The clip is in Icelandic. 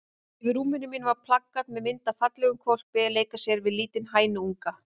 Yfir rúminu mínu var plakat með fallegum hvolpi að leika sér við lítinn hænuunga.